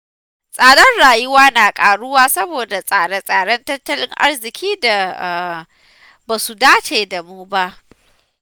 Tsadar rayuwa na ƙaruwa saboda tsare-tsaren tattalin arziƙin da ba su dace da mu ba.